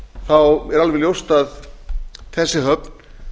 þá er alveg ljóst að þessi höfn